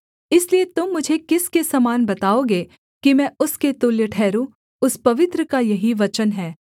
इसलिए तुम मुझे किसके समान बताओगे कि मैं उसके तुल्य ठहरूँ उस पवित्र का यही वचन है